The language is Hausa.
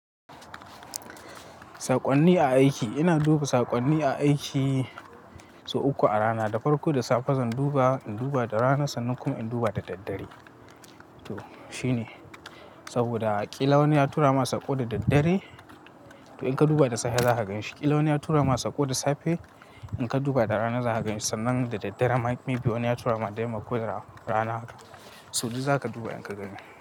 Saƙonni a aiki. Ina duba saƙonni a aiki sau uku a rana. Da farko da safe zan duba, in duba da rana, sannan kuma in duba da daddare. To shi ne. Saboda ƙila wani ya tura masa saƙo da daddare, to in ka duba da safe za ka gani. Shi ƙila wani ya tura masa saƙo da safe, in ka duba da rana za ka gani. Sannan da daddare ma maybe wani ya tura ma dai makwai rana, sau biyu za ka duba in ka gani.